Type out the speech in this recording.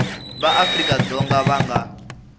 va afrika dzonga va nga